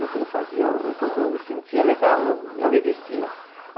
Eu fa, eu fazia, quando eu me sentia legal, eu, eu me vestia.